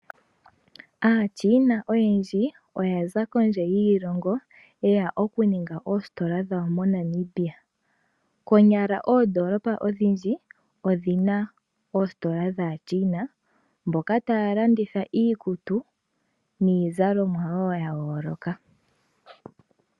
AaChina oyendji oya za kondje yiishilongo yeya oku ninga oositola dhawo moNamibia. Konyala oondolopa odhindji odhina oositola dhaaChina mboka taa landitha iikutu niizalomwa wo ya yoloka.